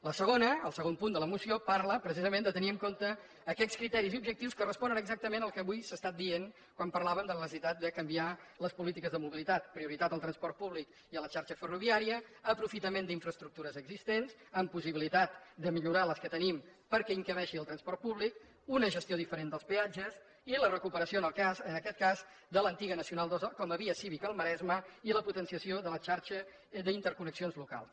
la segona el segon punt de la moció parla precisament de tenir en compte aquells criteris i objectius que responen exactament al que avui s’ha estat dient quan parlàvem de la necessitat de canviar les polítiques de mobilitat prioritat del transport públic i la xarxa ferroviària aprofitament d’infraestructures existents amb possibilitat de millorar les que tenim perquè s’hi encabeixi el transport públic una gestió diferent dels peatges i la recuperació en aquest cas de l’antiga nacional ii com a via cívica al maresme i la potenciació de la xarxa d’interconnexions locals